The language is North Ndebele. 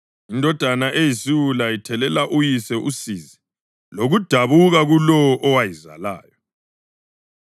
Indodana eyisiwula ithelela uyise usizi lokudabuka kulowo owayizalayo.